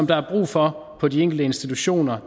der er brug for på de enkelte institutioner